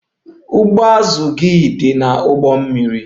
Ụgbụ azụ gị dị n'ụgbọ mmiri.